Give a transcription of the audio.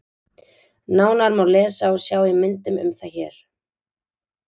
Nánar má lesa og sjá í myndum um það hér.